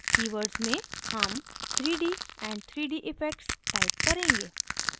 keywords में हम 3d and 3d effects type करेंगे